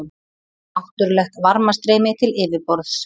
Náttúrlegt varmastreymi til yfirborðs